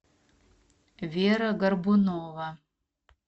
вера горбунова